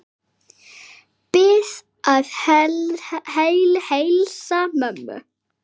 Bið að heilsa mömmu.